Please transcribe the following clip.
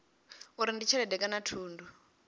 uri ndi tshelede kana thundu